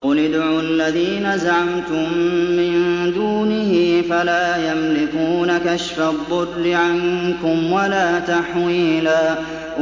قُلِ ادْعُوا الَّذِينَ زَعَمْتُم مِّن دُونِهِ فَلَا يَمْلِكُونَ كَشْفَ الضُّرِّ عَنكُمْ وَلَا تَحْوِيلًا